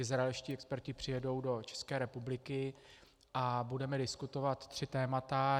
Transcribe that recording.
Izraelští experti přijedou do České republiky a budeme diskutovat tři témata.